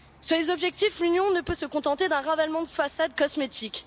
Sur les objectifs, l'Union ne peut se contenter d'un ravalement de façade cosmétique.